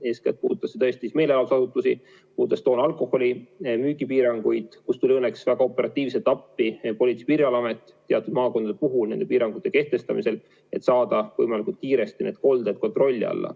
Eeskätt puudutas see meelelahutusasutusi, puudutas toona alkoholi müügi piiranguid, kus tuli õnneks väga operatiivselt appi Politsei- ja Piirivalveamet teatud maakondades nende piirangute kehtestamisel, et saada võimalikult kiiresti kolded kontrolli alla.